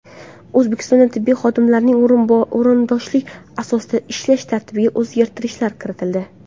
O‘zbekistonda tibbiy xodimlarning o‘rindoshlik asosida ishlash tartibiga o‘zgartirishlar kiritildi.